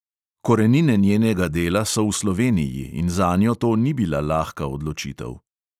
Korenine njenega dela so v sloveniji in zanjo to ni bila lahka odločitev.